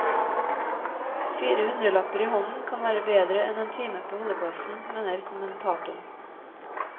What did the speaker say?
Fire hundrelapper i hånden, kan være bedre enn en time på holdeplassen, mener kommentatoren.